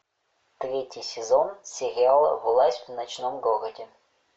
третий сезон сериала власть в ночном городе